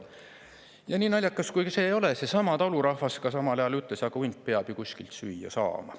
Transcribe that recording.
Ent nii naljakas kui see ei ole, seesama talurahvas samal ajal ütles: aga hunt peab ju kuskilt süüa saama.